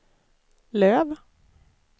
Löf